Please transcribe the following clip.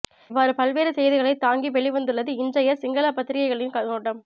இவ்வாறு பல்வேறு செய்திகளை தாங்கி வெளிவந்துள்ளது இன்றைய சிங்கள பத்திரிகைகளின் கண்ணோட்டம்